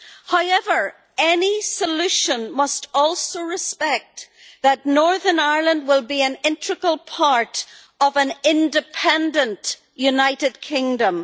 However, any solution must also respect that Northern Ireland will be an integral part of an independent United Kingdom.